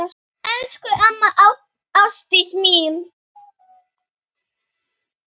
Elsku amma Ásdís mín.